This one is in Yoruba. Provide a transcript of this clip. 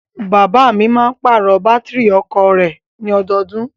Bàbáà mi máa ń pàrọ̀ Bátìrì ọkọ̀o rẹ̀ ní ọdọọdún.